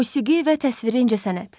Musiqi və təsviri incəsənət.